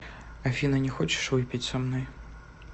афина не хочешь выпить со мной